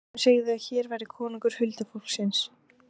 Sumir segðu að hér væri konungur huldufólksins.